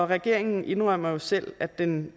regeringen indrømmer selv at den